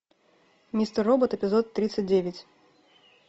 мистер робот эпизод тридцать девять